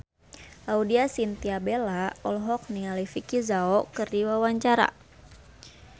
Laudya Chintya Bella olohok ningali Vicki Zao keur diwawancara